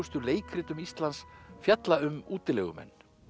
leikritum Íslands fjalla um útilegumenn